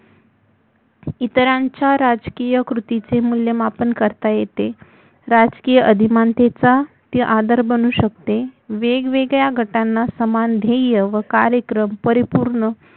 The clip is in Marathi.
इतरांच्या राजकीय कृतीचे मुल्यमापन करता येते राजकीय अभिमानतेचा ती आदर बनु शकते वेगवेगळ्या गटांना समान ध्येय व कार्यक्रम परिपूर्ण